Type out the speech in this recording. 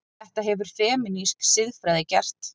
Þetta hefur femínísk siðfræði gert.